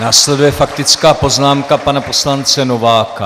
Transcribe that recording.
Následuje faktická poznámka pana poslance Nováka.